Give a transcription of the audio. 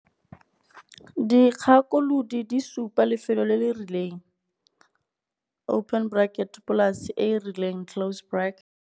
Dikgakolodi di supa lefelo le le rileng polase e e rileng.